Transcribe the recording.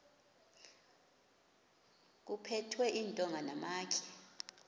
kuphethwe iintonga namatye